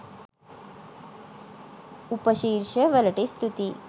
උපශීර්ෂ වලට ස්තුතියි